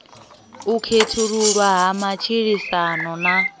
u khethululwa ha matshilisano na